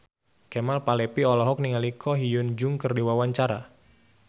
Kemal Palevi olohok ningali Ko Hyun Jung keur diwawancara